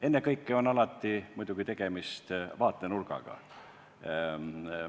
Ennekõike on alati tegemist vaatenurgaga.